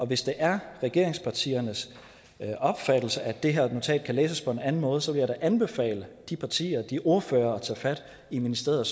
hvis det er regeringspartiernes opfattelse at det her notat kan læses på en anden måde så vil jeg da anbefale de partier og de ordførere at tage fat i ministeriet